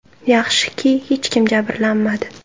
Yaxshiki, hech kim jabrlanmadi.